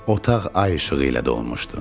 Otaq ay işığı ilə dolmuşdu.